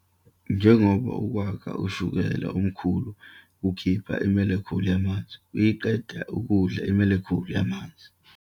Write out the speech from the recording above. Njengoba ukwakha ushukela omkhulu kukhipha i-molecule yamanzi, ukuyiqeda kudla i-molecule yamanzi.